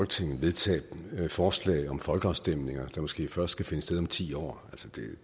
til at vedtage et forslag om folkeafstemninger der måske først skal finde sted om ti år